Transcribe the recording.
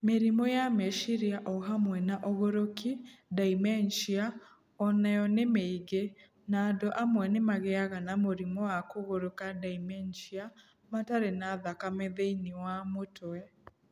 Mĩrimũ ya meciria, o hamwe na ũgũrũki (dementia) o nayo nĩ mĩingĩ, na andũ amwe nĩ magĩaga na mũrimũ wa kũgũrũka (dementia) matarĩ na thakame thĩinĩ wa mũtwe.